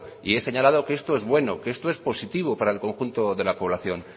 y he señalado que esto es bueno que esto es positivo para el conjunto de la población